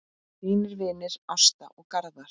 Þínir vinir Ásta og Garðar.